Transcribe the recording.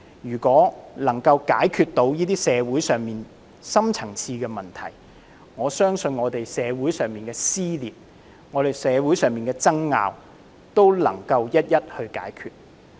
如果能夠解決社會上的深層次問題，我相信社會上的撕裂和爭拗也能夠一一解決。